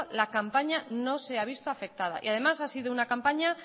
la campaña no se ha visto afectada y además ha sido una campaña